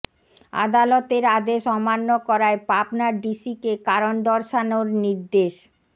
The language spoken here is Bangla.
আদালতের আদেশ অমান্য করায় পাবনার ডিসিকে কারণ দর্শানোর নির্দেশ